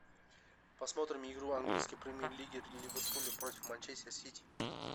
посмотрим игру английской премьер лиги ливерпуля против манчестер сити